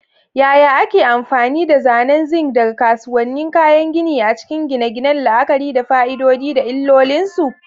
Yaya ake amfani da zanen zinc daga kasuwannin kayan gini a cikin gine-gine, la'akari da fa'idodi da illolinsu?